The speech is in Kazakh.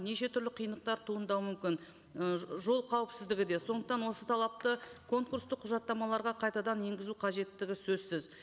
неше түрлі қиындықтар туындауы мүмкін ы жол қауіпсіздігі де сондықтан осы талапты конкурстық құжаттамаларға қайтадан енгізу қажеттігі сөзсіз